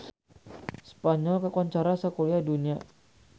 Spanyol kakoncara sakuliah dunya